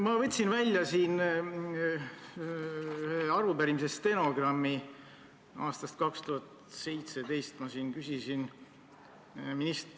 Ma võtsin välja ühe arupärimise stenogrammi aastast 2017.